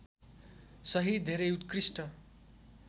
सहित धेरै उत्कृष्ट